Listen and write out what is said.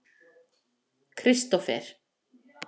Kristófer